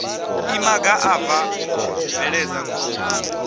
imaga a bva bveledza khombo